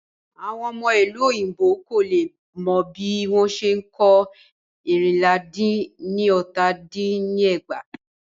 Àwọn ọmọ ìlú òyìnbó kò lè mọ bí wọ́n ṣe n kọ ẹ́rìnlá dín ní ọta dín ní ẹgbàá.